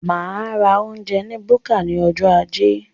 Máa ra oúnjẹ ní búkà ní ọjọ ajé